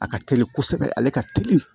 A ka teli kosɛbɛ ale ka teli